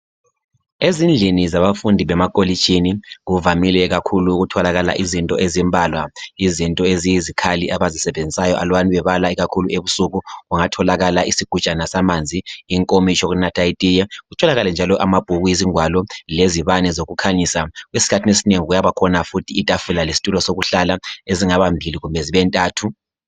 Ezindlini zabafundi bemakolitshini kuvamile kakhulu ukutholakala izinto ezimbalwa , izinto eziyizikhali abazisebenzisayo alubana bebala ebusuku kungatholakala isugujana samanzi , inkomitsho yokunatha itiye kutholakale njalo amabhuku izingwalo lezibane zokukhanyisa , esikhathini esinengi kuyabakhona futhi itafula lestulo sokuhlala ezingabambili kumbe zibe ntathu